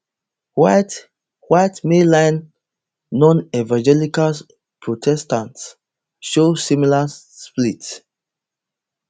white white mainline nonevangelical protestants show similar split